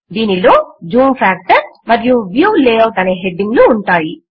దీనిలో zoom factor మరియు view layout అనే హెడ్డింగ్ లు ఉంటాయి